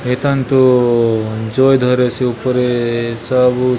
ए थाने तो जोय धरेसे ऊपरे सब--